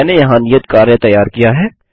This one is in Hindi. मैंने यहाँ नियत कार्य तैयार किया है